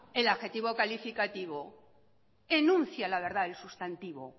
el adjetivo calificativo enuncia la verdad del sustantivo